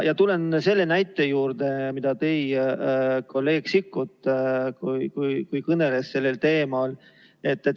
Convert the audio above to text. Tulen selle näite juurde, mille tõi kolleeg Sikkut, kui ta kõneles sellel teemal.